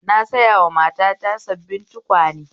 Na sayowa matata sabbin tukwane